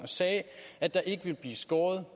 sagde at der ikke ville blive skåret